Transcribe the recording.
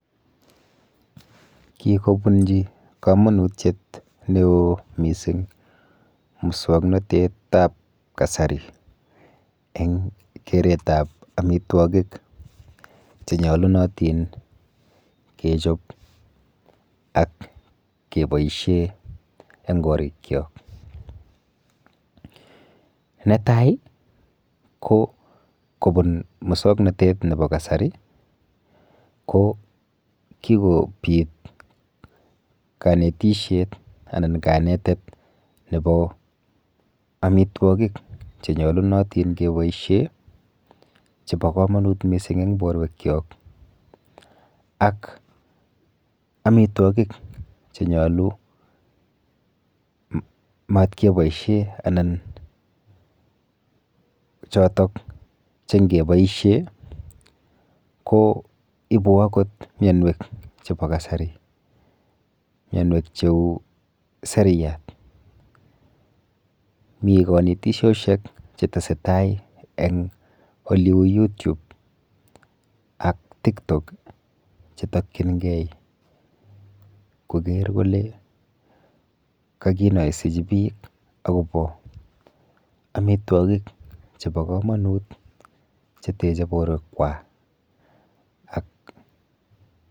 Kikobunji kamanutyet ne oo mising' muswang'natetab kasari eng' keretab amitwokik chenyalunatin kechop ak keboishe eng' korikcho netai ko kobun muswang'natet nebo kasari ko kikobit kanetishet anan kanetet nebo amitwokik chenyalunatin keboishe chebo kamanut mising' eng' borwek chok ak amitwokik chenyolu matkeboishe anan chotok chengeboishe ko ibu akot miyonwek chebo kasari miyonwek cheu seriat mi kanetishoshek chetesei tai eng' ole uu YouTube ak tiktok chetokchingei koger kole kakinoisechi biik akobo amitwokik chebo kamanut chetechei borwekwak